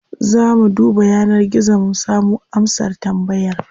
Za mu duba yanar gizo mu samo amsar tambayar.